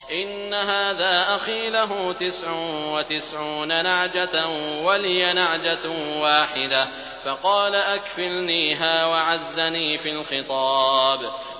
إِنَّ هَٰذَا أَخِي لَهُ تِسْعٌ وَتِسْعُونَ نَعْجَةً وَلِيَ نَعْجَةٌ وَاحِدَةٌ فَقَالَ أَكْفِلْنِيهَا وَعَزَّنِي فِي الْخِطَابِ